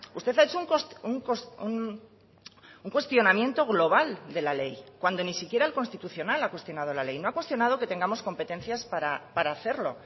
usted ha hecho un cuestionamiento global de la ley cuando ni siquiera el constitucional ha cuestionado la ley no ha cuestionado que tengamos competencias para hacerlo